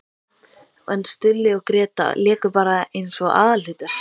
En Stulli og Gréta léku bara eins og aðalhlutverk!